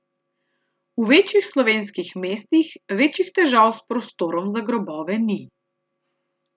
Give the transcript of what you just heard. V večjih slovenskih mestih večjih težav s prostorom za grobove ni.